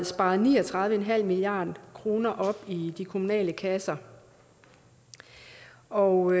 sparet ni og tredive milliard kroner op i de kommunale kasser og